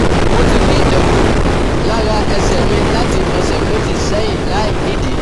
Mo ti ń ní ẹ̀gún lára ẹsẹ̀ mi láti ọ̀sẹ̀ méjì sẹ́yìn láìnídìí